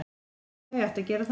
En þau ættu að gera það.